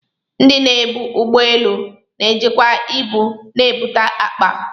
Ndị na-ebu ụgbọ elu na-ejikwa ibu na ibutu akpa.